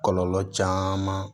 Kɔlɔlɔ caman